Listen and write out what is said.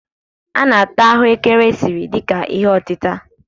A na-ata aghù ékẹrè esiri dị ka ihe otịtà.